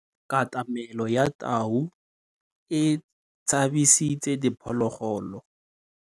Katamêlô ya tau e tshabisitse diphôlôgôlô.